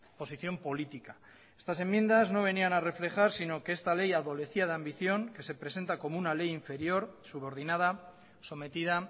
posición política estas enmiendas no venían a reflejar sino que esta ley adolecía de ambición que se presenta como una ley inferior subordinada sometida